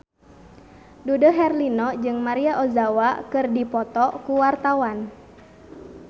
Dude Herlino jeung Maria Ozawa keur dipoto ku wartawan